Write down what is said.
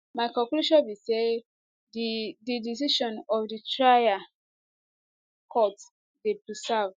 my conclusion be say di di decision of di trial court dey perverse